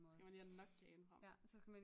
Så skal man lige have Nokiaen frem